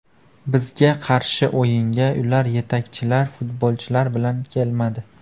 Bizga qarshi o‘yinga ular yetakchilar futbolchilar bilan kelmadi.